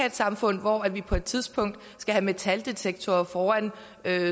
et samfund hvor vi på et tidspunkt skal have metaldetektorer foran